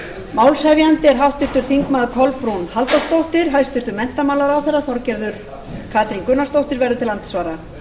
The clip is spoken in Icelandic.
málshefjandi er háttvirtir þingmenn kolbrún halldórsdóttir hæstvirtur menntamálaráðherra þorgerður katrín gunnarsdóttir verður til andsvara